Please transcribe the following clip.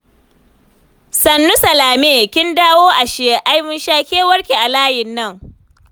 Sannu Salame, kin dawo ashe. Ai mun sha kewarki a layin nan